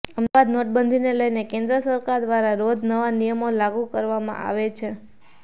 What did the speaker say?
અમદાવાદઃ નોટબંધીને લઇને કેંદ્ર સરકાર દ્વારા રોજ નવા નિયમો લાગુ કરવામાં આવે છે